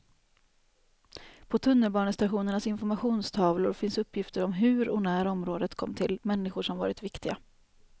På tunnelbanestationernas informationstavlor finns uppgifter om hur och när området kom till, människor som varit viktiga.